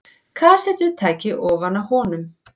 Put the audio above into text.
Kassettutæki ofan á honum.